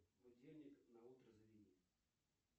будильник на утро заведи